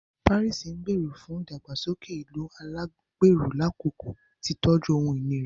Paris ngbero fún ìdàgbàsókè ìlú alagbero lakoko titọju ohun-ìní rẹ